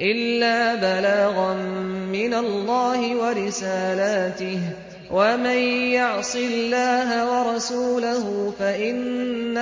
إِلَّا بَلَاغًا مِّنَ اللَّهِ وَرِسَالَاتِهِ ۚ وَمَن يَعْصِ اللَّهَ وَرَسُولَهُ فَإِنَّ